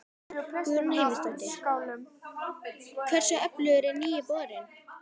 Guðrún Heimisdóttir: Hversu öflugur er nýi borinn?